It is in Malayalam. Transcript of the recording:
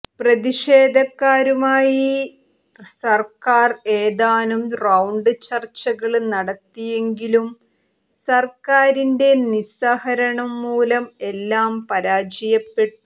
പ്രതിഷേധക്കാരുമായി സര്ക്കാര് ഏതാനും റൌണ്ട് ചര്ച്ചകള് നടത്തിയെങ്കിലും സര്ക്കാരിന്റെ നിസ്സഹകരണം മൂലം എല്ലാം പരാജയപ്പെട്ടു